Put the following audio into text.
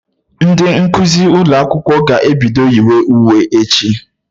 Ndị nkụzi ụlọ akwụkwọ ga-ebido yiwe uwe bido echi